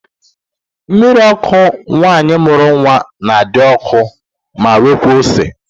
Mmiri ọkụ nwaanyị mụrụ nwa na-adị ọkụ ma nwekaa ose